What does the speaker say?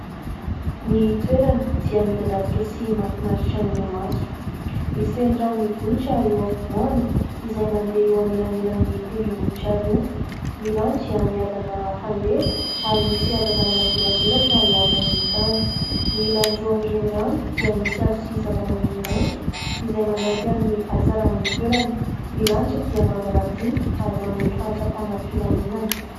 Ny toerana dia midadasika sy mafinaritra ny maso. Misy renirano mivohitra eo afovoany, izay mandeha eo anelanelan'ny tendrom-bohitra roa. Ny rano dia miadana fandeha, ary misy hazavana manjelanjelatra eo ambonin'ny tany. Ny ilan'ny roa amin'ny renirano dia misy hazo sy zava-maniry maitso, izay manampy amin'ny hatsaran'ny toerana. Ny lanitra dia manga madinika, ary manome fahatsapana filaminana.